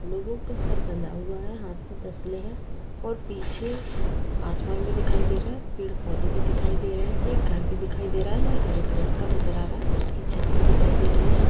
लोगो का सर बंधा हुआ है। हाथ में तसले हैं। और पीछे आसमान भी दिखाई दे रहा है। पेड़-पौधे भी दिखाई दे रहे हैं। एक घर भी दिखाई दे रहा है। हरे कलर का नजर आ रहा है। उसकी छत भी दिखाई दे रही है।